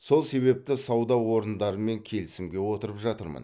сол себепті сауда орындарымен келісімге отырып жатырмын